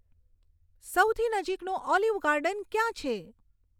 સૌથી નજીકનું Olive Garden ક્યાં છે